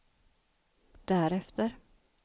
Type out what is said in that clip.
därefter